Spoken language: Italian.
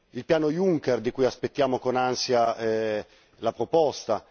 Il piano Juncker, di cui aspettiamo con ansia la proposta.